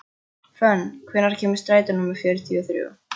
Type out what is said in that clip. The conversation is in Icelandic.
Fönn, hvenær kemur strætó númer fjörutíu og þrjú?